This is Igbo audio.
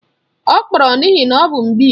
Ọ kpọrọrọ n'ihi na ọ bụ mgbịị